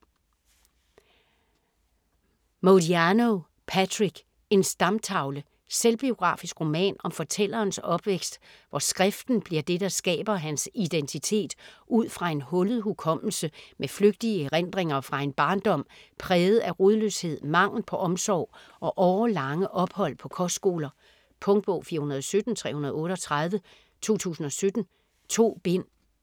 Modiano, Patrick: En stamtavle Selvbiografisk roman om fortællerens opvækst, hvor skriften bliver det, der skaber hans identitet ud fra en hullet hukommelse med flygtige erindringer fra en barndom præget af rodløshed, mangel på omsorg og årelange ophold på kostskoler. Punktbog 417338 2017. 2 bind.